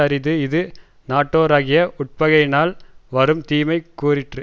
அரிது இது நட்டோராகிய உட்பகையினால் வரும் தீமை கூறிற்று